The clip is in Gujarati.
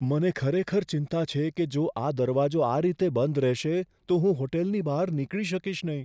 મને ખરેખર ચિંતા છે કે જો આ દરવાજો આ રીતે બંધ રહેશે તો હું હોટલની બહાર નીકળી શકીશ નહીં.